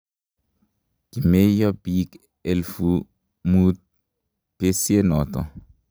kimeiyo biik elfu Mut besiet noto